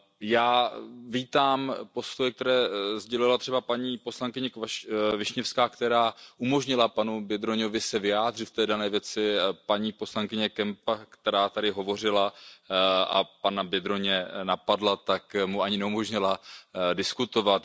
Já vítám postoje, které sdělila třeba paní poslankyně Wiśniewská, která umožnila panu Biedrońovi se vyjádřit k té dané věci, paní poslankyně Kempa, která tady hovořila a pana Biedroně napadla, tak mu ani neumožnila diskutovat.